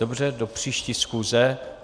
Dobře, do příští schůze.